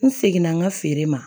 N seginna n ka feere ma